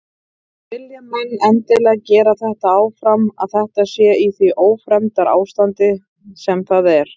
Vilja menn endilega gera þetta áfram að þetta sé í því ófremdarástandi sem það er?